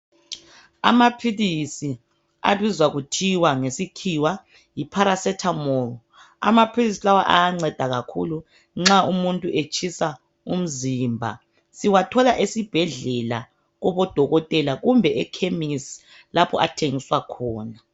Amaphilisi abizwa kuthiwa ngesikhiwa yi paracetamol .Amaphilisi lawa ayanceda kakhulu nxa umuntu etshisa umzimba. Siwathola esibhedlela kubodokothela kumbe ekhemisi lapho athengiswa khona.